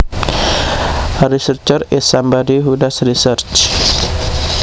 A researcher is somebody who does research